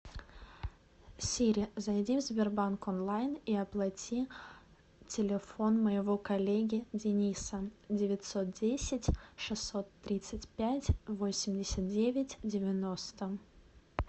сири зайди в сбербанк онлайн и оплати телефон моего коллеги дениса девятьсот десять шестьсот тридцать пять восемьдесят девять девяносто